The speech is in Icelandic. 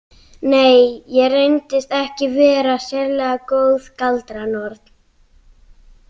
Nei, ég reyndist ekki vera sérlega góð galdranorn.